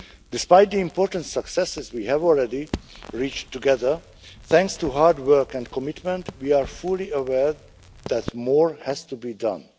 Despite the important successes we have already reached together thanks to hard work and commitment, we are fully aware that more has to be done.